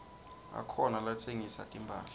akhona latsengisa timphahla